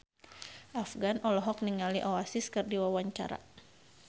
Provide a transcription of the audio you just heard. Afgan olohok ningali Oasis keur diwawancara